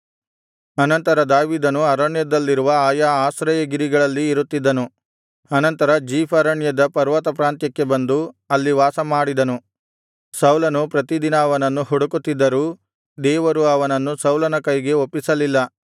ಅನಂತರ ದಾವೀದನು ಅರಣ್ಯದಲ್ಲಿರುವ ಆಯಾ ಆಶ್ರಯಗಿರಿಗಳಲ್ಲಿ ಇರುತ್ತಿದ್ದನು ಅನಂತರ ಜೀಫ್ ಅರಣ್ಯದ ಪರ್ವತಪ್ರಾಂತ್ಯಕ್ಕೆ ಬಂದು ಅಲ್ಲಿ ವಾಸಮಾಡಿದನು ಸೌಲನು ಪ್ರತಿದಿನ ಅವನನ್ನು ಹುಡುಕುತ್ತಿದ್ದರೂ ದೇವರು ಅವನನ್ನು ಸೌಲನ ಕೈಗೆ ಒಪ್ಪಿಸಲಿಲ್ಲ